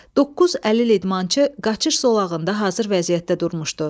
Doqquz əlil idmançı qaçış zolağında hazır vəziyyətdə durmuşdu.